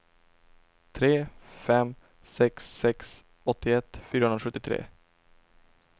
tre fem sex sex åttioett fyrahundrasjuttiotre